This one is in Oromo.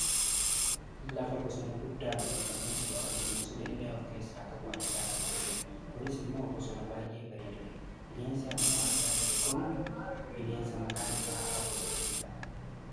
Lafa bosona guddaan uffifamee jiru kan bineensota illee of keessaa qabu argaa kan jirrudha. Kunis ammoo bosona baayyee bareedudha. Bineensi amma argaa jirru kun ammoo bineensa maqaan isaa Arba jedhamudha.